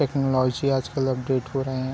Technology आजकल update हो रहै हैं।